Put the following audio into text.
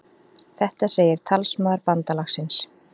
Þetta segir talsmaður bandalagsins